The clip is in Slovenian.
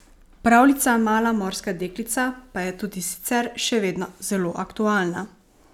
Pravljica Mala morska deklica pa je tudi sicer še vedno zelo aktualna.